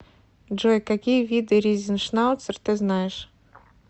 джой какие виды ризеншнауцер ты знаешь